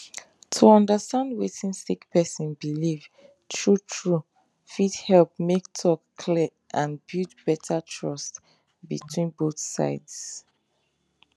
to understand wetin sick person believe true true fit help make talk clear and build better trust between both sides